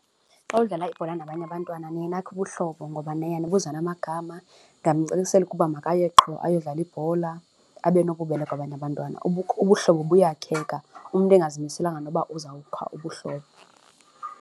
Xa udlala ibhola nabanye abantwana niye nakhe ubuhlobo ngoba niye nibuzane namagama, ndingamcacisela ukuba makaye qho ayodlala ibhola abe nobubele kwabanye abantwana. Ubuhlobo buyakheka umntu angazimiselanga noba uzawukha ubuhlobo.